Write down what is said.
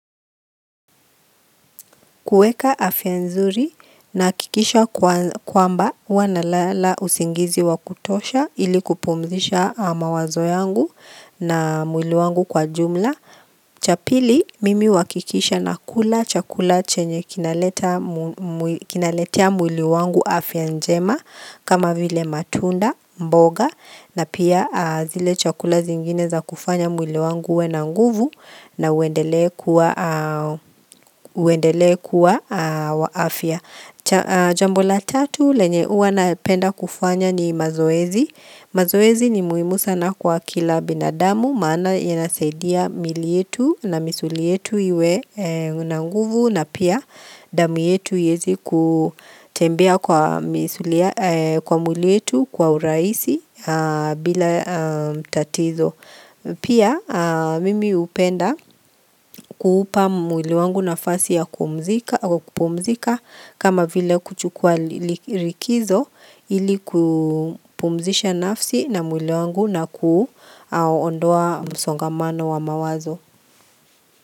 Kuweka afya nzuri nahakikisha kwamba, huwa nalala usingizi wa kutosha ili kupumzisha mawazo yangu na mwili wangu kwa jumla. Cha pili mimi huhakikisha nakula chakula chenye kinaletea mwili wangu afya njema, kama vile matunda, mboga na pia zile chakula zingine za kufanya mwili wangu uwe na nguvu na uendelee kuwa wa afya, cha Jambo la tatu, lenye huwa napenda kufanya ni mazoezi, mazoezi ni muhimu sana kwa kila binadamu, maana yanasaidia miili yetu na misuli yetu iwe na nguvu na pia damu yetu iweze kutembea kwa misuli kwa mwili wetu kwa urahisi bila tatizo. Pia mimi hupenda kuupa mwili wangu nafasi ya kupumzika kama vile kuchukua likizo, ili kupumzisha nafsi na mwili wangu na kuondoa msongamano wa mawazo.